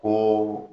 Ko